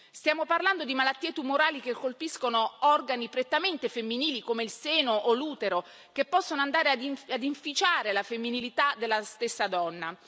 Stiamo parlando di malattie tumorali che colpiscono organi prettamente femminili, come il seno o l'utero, che possono andare ad inficiare la femminilità della stessa donna.